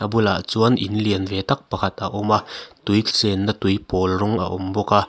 a bulah chuan in lian ve tak pakhat a awm a tui chenna tui pawl rawng a awm bawk a.